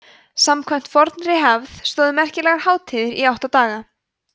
samkvæmt fornri hefð stóðu merkilegar hátíðir í átta daga